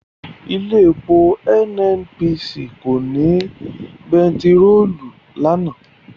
Ilé epo NNPC kò ní bẹntiròòlù lánàá.